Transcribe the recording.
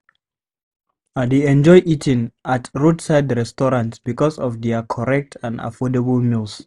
I dey enjoy eating at roadside restaurants because of their correct and affordable meals.